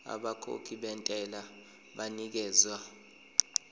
abakhokhi bentela banikezwa